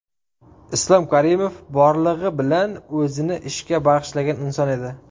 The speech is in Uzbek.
Islom Karimov borlig‘i bilan o‘zini ishga bag‘ishlagan inson edi.